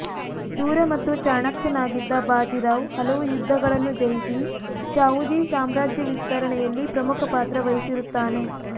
ಶೂರ ಮತ್ತು ಚಾಣಾಕ್ಷನಾಗಿದ್ದ ಬಾಜಿರಾವ್ ಹಲವು ಯುದ್ಧಗಳನ್ನು ಜಯಿಸಿ ಶಾಹುಜಿ ಸಾಮ್ರಾಜ್ಯ ವಿಸ್ತರಣೆಯಲ್ಲಿ ಪ್ರಮುಖ ಪಾತ್ರ ವಹಿಸಿರುತ್ತಾನೆ